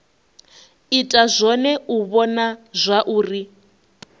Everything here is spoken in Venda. ita zwone u vhona zwauri